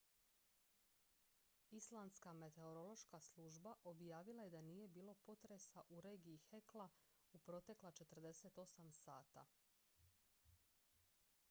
islandska meteorološka služba objavila je da nije bilo potresa u regiji hekla u protekla 48 sata